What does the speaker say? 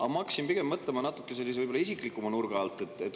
Aga ma hakkasin mõtlema natuke võib-olla sellise isiklikuma nurga alt.